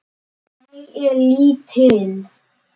Ég er lítil.